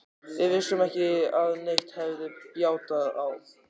Við vissum ekki að neitt hefði bjátað á.